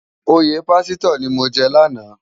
Óyè pàsitò ni mó jè làná